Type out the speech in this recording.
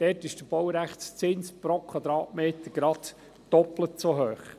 Dort ist der Baurechtszins pro Quadratmeter genau doppelt so hoch.